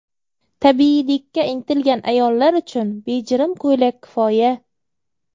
Tabiiylikka intilgan ayollar uchun bejirim ko‘ylak kifoya.